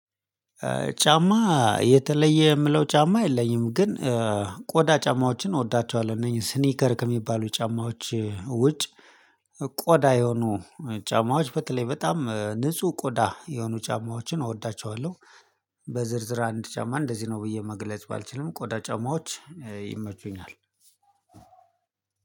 ጫማ የተለየ የምለው ጫማ የለኝም ግን ቆዳ ጫማዎችን እወዳቸዋለሁ እነኚህ ስኒከር ከሚባሉ ጫማዎች ውጭ ቆዳ የሆኑ ጫማዎች በተለይ በጣም ንጹህ ቆዳ የሆኑ ጫማዎችን እወዳቸዋለሁ። በዝርዝር አንድ ጫማ እንደዚህ ነው ብዬ መግለጽ ባልችልም ቆዳ ጫማዎች ይመቹኛል።